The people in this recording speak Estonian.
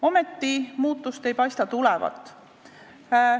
Ometi ei paista muutust tulevat.